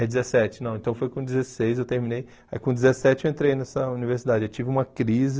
É dezessete, não, então foi com dezesseis eu terminei, aí com dezessete eu entrei nessa universidade, eu tive uma crise,